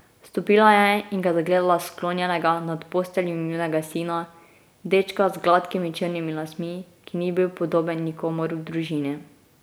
Vstopila je in ga zagledala sklonjenega nad posteljo njunega sina, dečka z gladkimi črnimi lasmi, ki ni bil podoben nikomur v družini ...